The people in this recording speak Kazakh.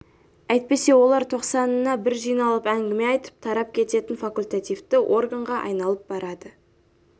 әйтпесе олар тоқсанына бір жиналып әңгіме айтып тарап кететін факультативті органға айналып барады